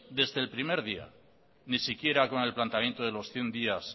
desde el primer día ni siquiera con el planteamiento de los cien días